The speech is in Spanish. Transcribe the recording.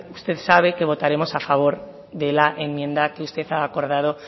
usted sabe que votaremos a favor de la enmienda que usted ha acordado